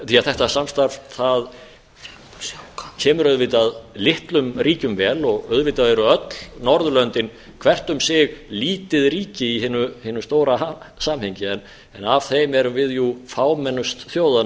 þetta samstarf kemur auðvitað litlum ríkjum vel auðvitað eru öll norðurlöndin hvert um sig lítið ríki í hinu stóra samhengi en af þeim erum við fámennust þjóðanna